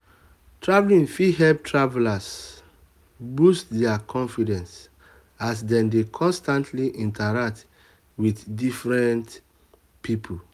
traveling fit help tavelers boost their confidence as dem dey constantly interact with different people.